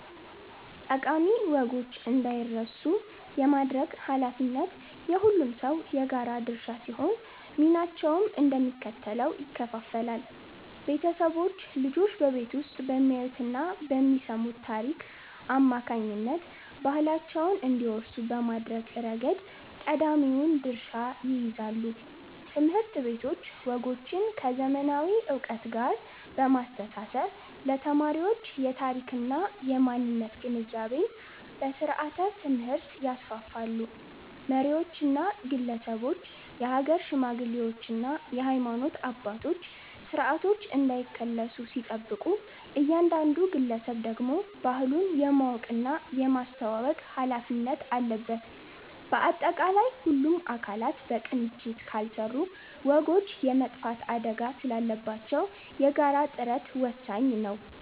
ጠቃሚ ወጎች እንዳይረሱ የማድረግ ኃላፊነት የሁሉም ሰው የጋራ ድርሻ ሲሆን፣ ሚናቸውም እንደሚከተለው ይከፈላል፦ ቤተሰቦች፦ ልጆች በቤት ውስጥ በሚያዩትና በሚሰሙት ታሪክ አማካኝነት ባህላቸውን እንዲወርሱ በማድረግ ረገድ ቀዳሚውን ድርሻ ይይዛሉ። ትምህርት ቤቶች፦ ወጎችን ከዘመናዊ ዕውቀት ጋር በማስተሳሰር ለተማሪዎች የታሪክና የማንነት ግንዛቤን በስርዓተ-ትምህርት ያስፋፋሉ። መሪዎችና ግለሰቦች፦ የሀገር ሽማግሌዎችና የሃይማኖት አባቶች ስርዓቶች እንዳይከለሱ ሲጠብቁ፣ እያንዳንዱ ግለሰብ ደግሞ ባህሉን የማወቅና የማስተዋወቅ ኃላፊነት አለበት። ባጠቃላይ፣ ሁሉም አካላት በቅንጅት ካልሰሩ ወጎች የመጥፋት አደጋ ስላለባቸው የጋራ ጥረት ወሳኝ ነው።